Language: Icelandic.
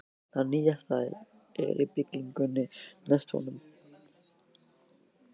Það nýjasta er í byggingu næst honum.